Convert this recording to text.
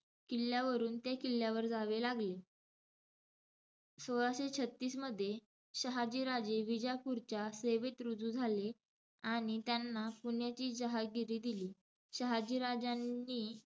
किल्ल्यावरून त्या किल्ल्यावर जावे लागले. सोळाशे छत्तीस मध्ये, शहाजीराजे विजापूरच्या सेवेत रुजू झाले. आणि त्यांना पुण्याची जहागिरी दिली. शहाजीराजांनी,